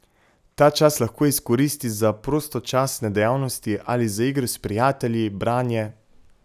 Ta čas lahko izkoristi za prostočasne dejavnosti ali za igro s prijatelji, branje ...